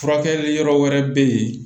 Furakɛli yɔrɔ wɛrɛ bɛ yen